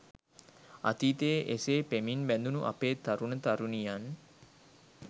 අතීතයේ එසේ පෙමින් බැඳුණු අපේ තරුණ තරුණියන්